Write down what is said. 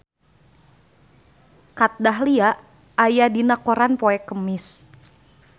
Kat Dahlia aya dina koran poe Kemis